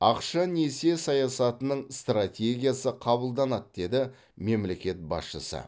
ақша несие саясатының стратегиясы қабылданады деді мемлекет басшысы